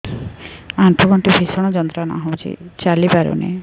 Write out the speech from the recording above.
ଆଣ୍ଠୁ ଗଣ୍ଠି ଭିଷଣ ଯନ୍ତ୍ରଣା ହଉଛି ଚାଲି ପାରୁନି